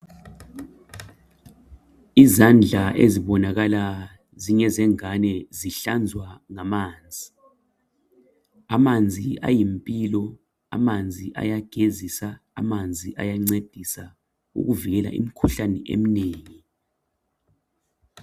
izandla ezibonakala zingezengane zihlanzwa ngamanzi amanzi ayimpilo amanzi ayagezisa amanzi ayancedisa ukuvikela imikhuhlane eminengi